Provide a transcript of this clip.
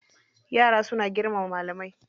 Yara suna girmama malamai.